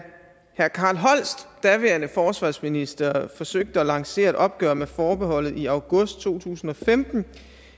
herre carl holst daværende forsvarsminister forsøgte at lancere et opgør med forbeholdet i august to tusind og femten